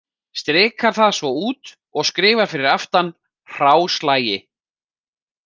Strikar það svo út og skrifar fyrir aftan: hráslagi.